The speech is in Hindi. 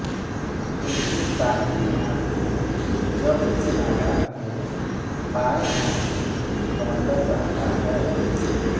इनके दाहिने हाथ में जप की माला एवं बाएँ हाथ में कमण्डल रहता है